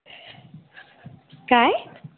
काय?